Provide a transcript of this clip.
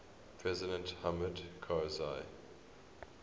president hamid karzai